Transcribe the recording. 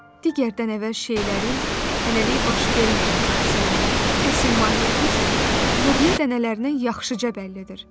Digərdən əvvəl şeylərin, hələlik baş verməyən hadisələrin əsl mahiyyəti isə lobya dənələrindən yaxşıca bəllidir.